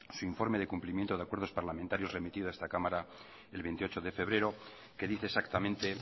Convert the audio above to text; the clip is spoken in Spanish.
su informe de cumplimientos de acuerdos parlamentarios remitido a esta cámara el veintiocho de febrero que dice exactamente